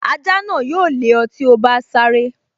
Ajá náà yóò lé ọ tí o bá sáré